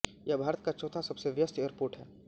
यह भारत का चौथा सबसे व्यस्त एयरपोर्ट है